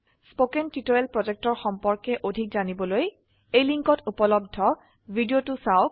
spoken tutorial প্ৰকল্পৰ সম্পৰ্কে অধিক জানিবলৈ এই লিঙ্কত উপলব্ধ ভিডিওটো চাওক